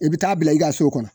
I be taa'a bila i ka so kɔnɔ